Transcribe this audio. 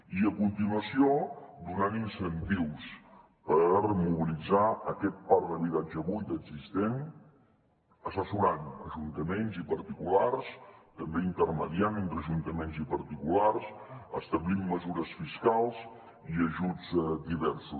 i a continuació donant incentius per mobilitzar aquest parc d’habitatge buit existent assessorant ajuntaments i particulars també intermediant entre ajuntaments i particulars establint mesures fiscals i ajuts diversos